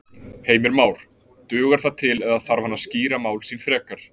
Heimir Már: Dugar það til eða þarf hann að skýra mál sín frekar?